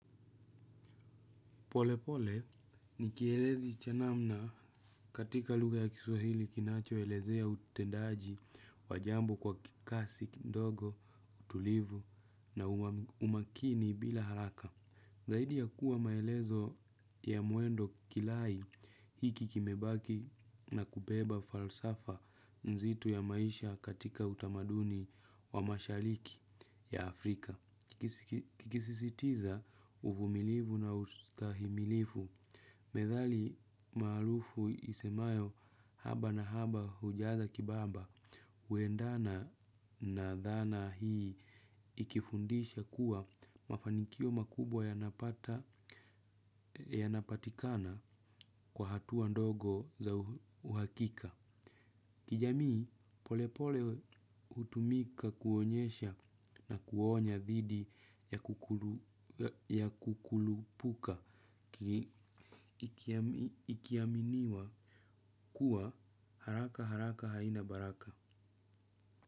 Polepole, nikielezi cha namna katika luga ya kisuhili kinacho elezea utendaji wajambo kwa kikasi ndogo, utulivu na umakini bila haraka. Zahidi ya kuwa maelezo ya muendo kilai hiki kimebaki na kubeba falsafa nzito ya maisha katika utamaduni wa mashaliki ya Afrika. Kikisisitiza ufumilivu na ustahimilifu medhali mahalufu isemayo haba na haba hujaza kibaba. Uendana na dhana hii ikifundisha kuwa mafanikio makubwa yanapatikana kwa hatuwa ndogo za uhakika. Kijamii polepole utumika kuonyesha na kuonya dhidi ya kukulupuka. Ikiaminiwa kuwa haraka haraka haina baraka.